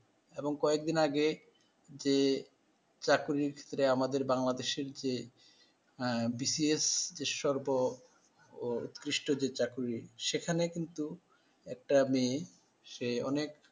এবং কয়েক দিন আগে যে চাকরির ক্ষেত্রে আমাদের বাংলাদেশের যে। হ্যাঁ, বি সি এস সর্ব ও উত্কৃস্টদের চাকরি সেখানে কিন্তু একটা মেয়ে সে অনেক